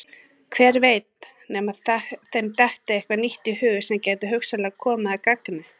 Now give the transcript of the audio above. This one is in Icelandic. Hver veit nema þeim detti eitthvað nýtt í hug sem gæti hugsanlega komið að gagni.